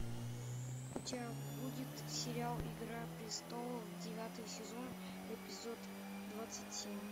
у тебя будет сериал игра престолов девятый сезон эпизод двадцать семь